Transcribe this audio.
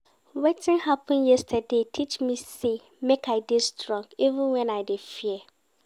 Wetin happen yesterday teach me sey make I dey strong even wen I dey fear.